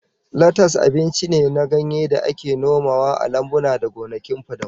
Latas abinci ne na ganye da ake nomawa a lambuna da gonakin fadamu